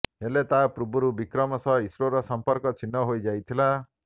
ହେଲେ ତା ପୂର୍ବରୁ ବିକ୍ରମ ସହ ଇସ୍ରୋର ସଂପର୍କ ଛିନ୍ନ ହୋଇଯାଇଥିଲା